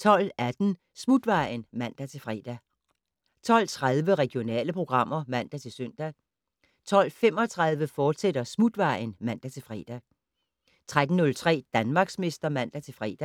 12:18: Smutvejen (man-fre) 12:30: Regionale programmer (man-søn) 12:35: Smutvejen, fortsat (man-fre) 13:03: Danmarksmester (man-fre)